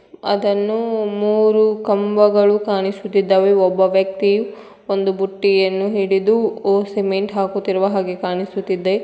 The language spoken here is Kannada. ಅದನ್ನು ಮೂರು ಕಂಬಗಳು ಕಾಣಿಸುತ್ತಿದ್ದಾವೆ ಒಬ್ಬ ವ್ಯಕ್ತಿಯು ಒಂದು ಬುಟ್ಟಿಯನ್ನು ಹಿಡಿದು ಓ ಸಿಮೆಂಟ್ ಹಾಕುತ್ತಿರುವ ಹಾಗೆ ಕಾಣಿಸ್ತಾ ಇದೆ.